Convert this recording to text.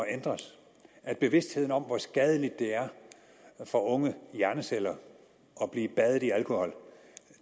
ændres og at bevidstheden om hvor skadeligt det er for unge hjerneceller at blive badet i alkohol